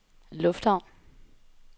lufthavn